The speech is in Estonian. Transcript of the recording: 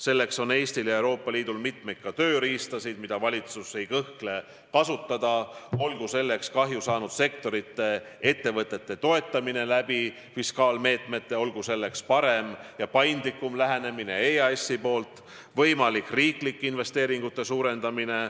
Selleks on Eestil ja Euroopa Liidul mitmeid tööriistu, mida valitsus ei kõhkle kasutada: olgu selleks kahju saanud sektorite ettevõtete toetamine fiskaalmeetmetega, olgu selleks paindlikum lähenemine EAS-i poolt, võimalik riiklike investeeringute suurendamine.